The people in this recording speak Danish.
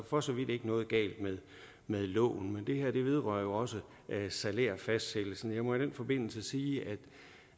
for så vidt ikke noget galt med loven men det her vedrører jo også salærfastsættelsen jeg må i den forbindelse sige